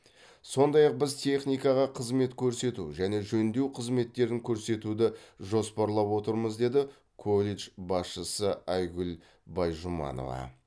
сондай ақ біз техникаға қызмет көрсету және жөндеу қызметтерін көрсетуді жоспарлап отырмыз деді колледж басшысы айгүл байжұманова